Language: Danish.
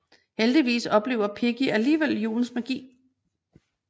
Heldigvis oplever Piggy alligevel julens magi